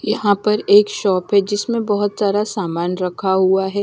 यहां पर एक शॉप है जिसमें बहोत सारा सामान रखा हुआ है।